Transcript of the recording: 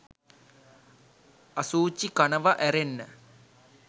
අසුචි කනව ඇරෙන්න